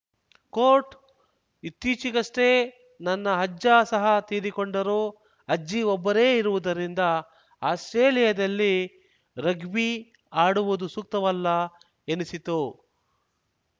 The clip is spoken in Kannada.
ಕೋಟ್‌ ಇತ್ತೀಚೆಗಷ್ಟೇ ನನ್ನ ಅಜ್ಜ ಸಹ ತೀರಿಕೊಂಡರು ಅಜ್ಜಿ ಒಬ್ಬರೇ ಇರುವುದರಿಂದ ಆಸ್ಪ್ರೇಲಿಯಾದಲ್ಲಿ ರಗ್ಬಿ ಆಡುವುದು ಸೂಕ್ತವಲ್ಲ ಎನಿಸಿತು